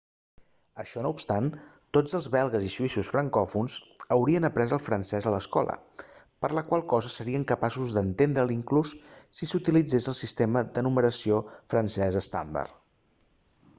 això no obstant tots els belgues i suïssos francòfons haurien après el francès a l'escola per la qual cosa serien capaços d'entendre'l inclús si s'utilitzés el sistema de numeració francès estàndard